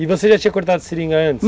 E você já tinha cortado seringa antes?